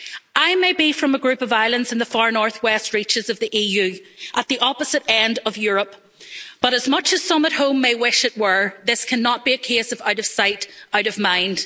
I may be from a group of islands in the far northwest reaches of the EU, at the opposite end of Europe, but as much as some at home may wish it were, this cannot be a case of out of sight, out of mind'.